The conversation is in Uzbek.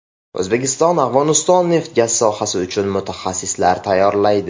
O‘zbekiston Afg‘oniston neft-gaz sohasi uchun mutaxassislar tayyorlaydi.